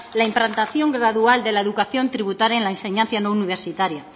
la implantación gradual de la educación tributaria en la enseñanza no universitaria